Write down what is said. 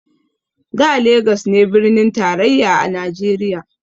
Da legas ne birnin tarayya a najeriya